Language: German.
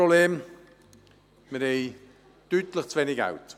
Wir haben hier deutlich zu wenig Geld.